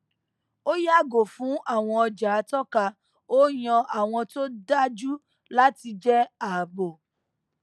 ó yàgò fún àwọn ọjà àtọka ó yan àwọn tó dájú láti jẹ ààbò